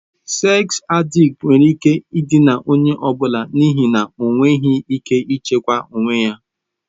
Seks adịkti nwere ike ịdịna onye ọ bụla n'ihi na ha enweghị ike ịchịkwa onwe ha.